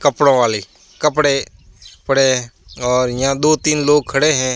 कपड़ों वाली कपड़े पड़े है और यहां दो तीन लोग खड़े है।